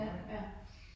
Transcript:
Ja, ja